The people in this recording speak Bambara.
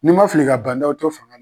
Ni n ma fili, ka Ban Dao to faga na